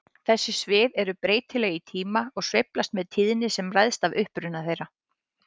Þessi svið eru breytileg í tíma og sveiflast með tíðni sem ræðst af uppruna þeirra.